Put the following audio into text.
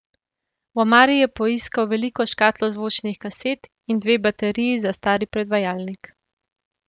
V omari je poiskal veliko škatlo zvočnih kaset in dve bateriji za stari predvajalnik.